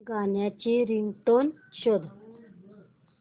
गाण्याची रिंगटोन शोध